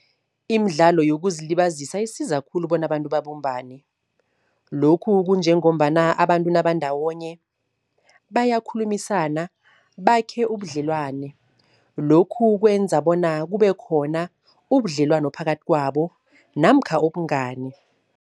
Imidlalo yokuzilibazisa isiza khulu bona abantu babumbane. Lokhu kunjengombana abantu nabandawonye bayakhulumisana, bakhe ubudlelwane. Lokhu kwenza bona kube khona ubudlelwano phakathi kwabo namkha ubungani.